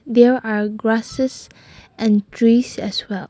here are grasses and trees as well.